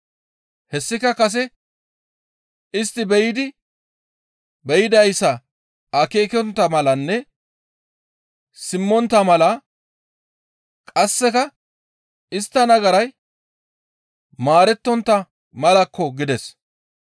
Hessika kase, ‹Istti be7idi be7idayssa akeekontta malanne simmontta mala, qasseka istta nagaray maarettontta malakko› » gides.